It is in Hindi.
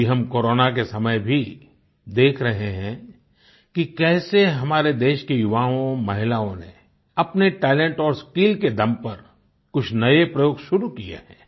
अभी हम कोरोना के समय भी देख रहे हैं कि कैसे हमारे देश के युवाओंमहिलाओं ने अपने टैलेंट और स्किल के दम पर कुछ नये प्रयोग शुरू किये हैं